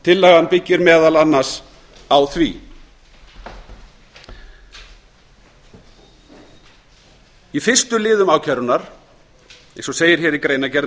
tillagan byggir meðal annars á því í fyrstu liðum ákærunnar eins og segir í greinargerð